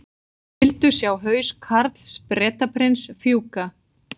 Vildu sjá haus Karls Bretaprins fjúka